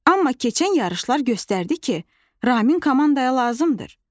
Amma keçən yarışlar göstərdi ki, Ramin komandaya lazımdır.